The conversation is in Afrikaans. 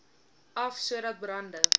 af sodat brande